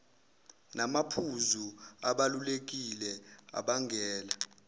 namaphuzu abalulekile abangela